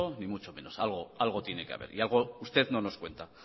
ni mucho menos algo tiene que haber y algo usted no nos cuenta